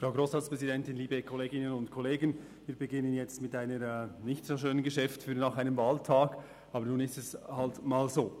Für nach einem Wahltag beginnen wir jetzt mit einem nicht so schönen Geschäft, aber es ist nun mal so.